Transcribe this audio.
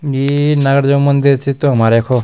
ये नागराजा मंदिर च त हमार यखो।